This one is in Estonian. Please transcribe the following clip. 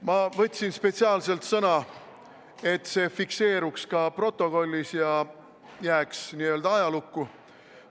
Ma võtsin spetsiaalselt sõna, et see fikseeruks ka stenogrammis ja jääks n-ö ajalukku.